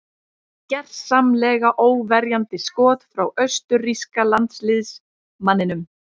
Gersamlega óverjandi skot frá austurríska landsliðsmanninum.